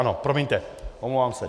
Ano, promiňte, omlouvám se.